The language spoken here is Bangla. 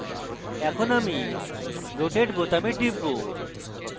এখন আমি rotate বোতামে টিপব